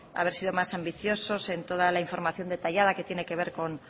haber sido más ambiciosos en toda la información detallada que tiene que ver con